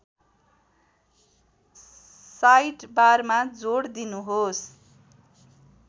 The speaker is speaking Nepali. साइडबारमा जोड दिनुहोस्